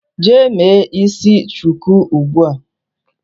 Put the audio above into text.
Jee me isi shuku ugbua.